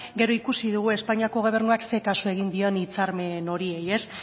gero ikusi dugu espainiako gobernuak zein kasu egin dion hitzarmen horiei